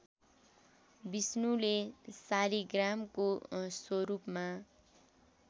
विष्णुले शालीग्रामको स्वरूपमा